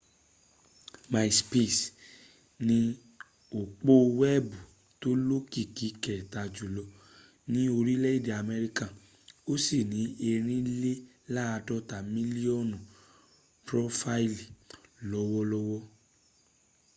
myspace ni òpó weebu tó lókìkí kẹta jùlọ ni orílè-èdè améríkà o si ni èrìnlélàádọ́ta millionu prófáílì lọ́wọ́lọ́wọ́